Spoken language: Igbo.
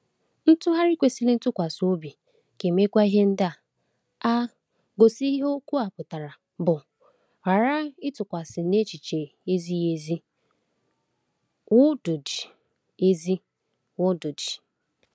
Ntụgharị kwesịrị ntụkwasị obi ga-emekwa ihe ndị a: (a) gosi ihe okwu pụtara, (b) ghara ịtụgharịsite n’echiche ezighi ezi, wdg. ezi, wdg.